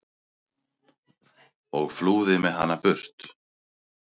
og flúði með hana burt.